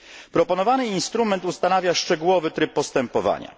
Proponowany instrument ustanawia szczegółowy tryb postępowania.